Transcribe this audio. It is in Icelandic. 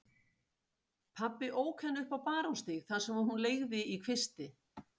Pabbi ók henni upp á Barónsstíg þar sem hún leigði í kvisti.